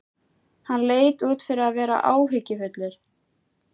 Hann leit út fyrir að vera áhyggjufullur.